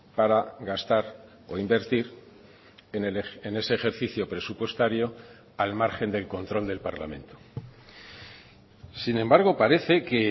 para gastar o invertir en ese ejercicio presupuestario al margen del control del parlamento sin embargo parece que